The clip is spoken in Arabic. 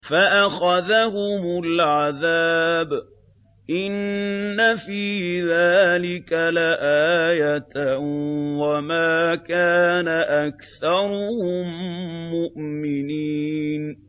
فَأَخَذَهُمُ الْعَذَابُ ۗ إِنَّ فِي ذَٰلِكَ لَآيَةً ۖ وَمَا كَانَ أَكْثَرُهُم مُّؤْمِنِينَ